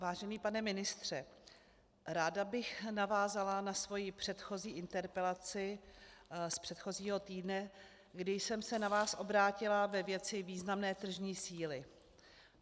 Vážený pane ministře, ráda bych navázala na svoji předchozí interpelaci z předchozího týdne, kdy jsem se na vás obrátila ve věci významné tržní síly.